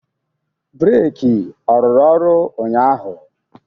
Breki ọ rụrụ ọrụ ụnyaahụ?